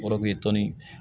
Yɔrɔ tɔnni